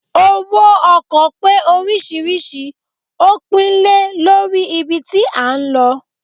owo ọkọ pe oriṣiriṣi o pinle Lori ibí tí a n ló